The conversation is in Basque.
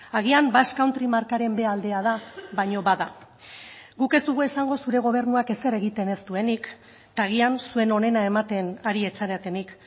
agian basque country markaren b aldea da baina bada guk ez dugu esango zure gobernuak ezer egiten ez duenik eta agian zuen onena ematen ari ez zaretenik